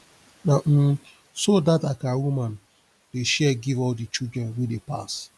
na um so dat akara woman dey share give all di children wey dey pass